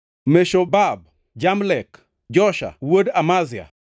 Meshobab, Jamlek, Josha wuod Amazia,